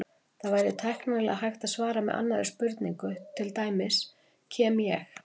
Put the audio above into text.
Það væri tæknilega hægt að svara með annarri spurningu, til dæmis: Kem ég?